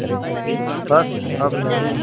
बस अब नहीं